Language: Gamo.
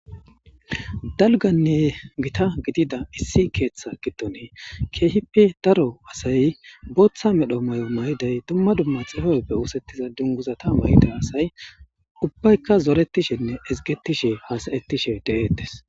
dalganne gita gidida issi keeththa gidoni keehippe daro asay booththa medho mayo mayday dumma dumma xibabeppe oosettiza dunguzata mayda asay ubbaykka zoretishenne ezgetishe haasayettishe de'eetes